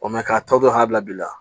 k'a tɔ hakili la